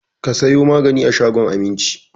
Ka sayo magaji a shagon Aminci!